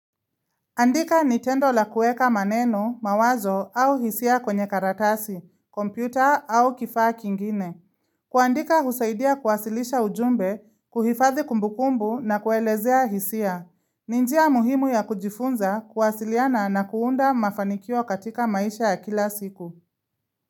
Andika nitendo la kuweka maneno, mawazo au hisia kwenye karatasi, kompyuta au kifaa kingine. Kuandika husaidia kuwasilisha ujumbe, kuhifadhi kumbukumbu na kuelezea hisia. Ni njia muhimu ya kujifunza kuwasiliana na kuunda mafanikio katika maisha ya kila siku.